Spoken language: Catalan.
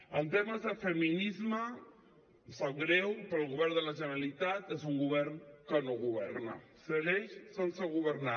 en temes de feminisme em sap greu però el govern de la generalitat és un govern que no governa segueix sense governar